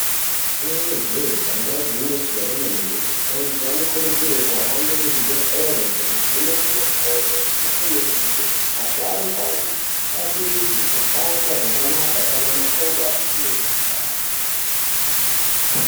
Inenge jeee damba igwinyiso remene mene antu anokurudzirwe kuhamba muzvi bhedhlere eivhenekwe makodo eivhenekwe mirenje asharukwa afambe zvakanaka kana makodo asisine simba.